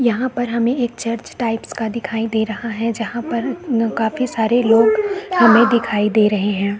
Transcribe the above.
यहाँ पर हमें एक चर्च टाइप्स का दिखाई दे रहा है जहाँ पर काफी सारे लोग हमें दिखाई दे रहे है।